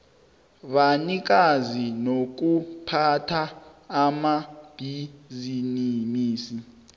banikazi nokuphatha amabhisimisi